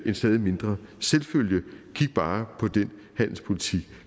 en stadig mindre selvfølge kig bare på den handelspolitik